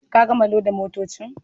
Ka gama loda motocin.